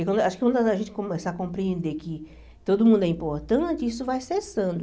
Que quando acho que quando a gente começar a compreender que todo mundo é importante, isso vai cessando.